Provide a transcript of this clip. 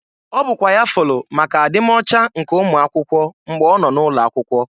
Ọ bụkwa ya fụlụ maka adi m ọcha nke ụmụakwụkwe mgbe ọ nọ n'ụlọ akwụkwo.